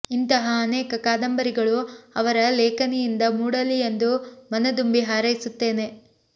ಇಂತಹ ಅನೇಕ ಕಾದಂಬರಿಗಳು ಅವರ ಲೇಖನಿಯಿಂದ ಮೂಡಲಿ ಎಂದು ಮನದುಂಬಿ ಹಾರೈಸುತ್ತೇನೆ